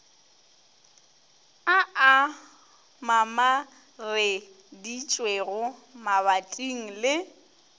a a mamareditšwego mabating le